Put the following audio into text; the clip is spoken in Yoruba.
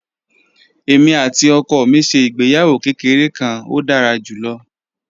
Èmi àti ọkọ mi ṣe ìgbéyàwó kékeré kan, ó dára jù lọ